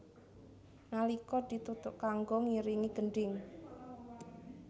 Nalika dituthuk kanggo ngiringi gendhing